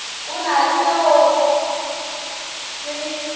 o na le seoa se